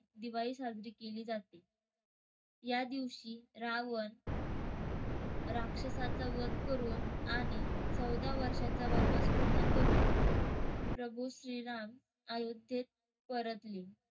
दिवाळी साजरी केली जाते. यादिवशी रावण राक्षसाचा वध करून आणि चौदा वर्षाचा वनवास पूर्ण करून प्रभू श्री राम अयोध्येत परतले.